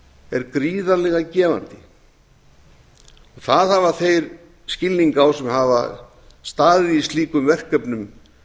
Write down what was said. er gríðarlega gefandi því hafa þeir skilning á sem hafa staðið í slíkum verkefnum